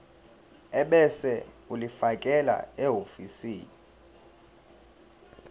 ebese ulifakela ehhovisi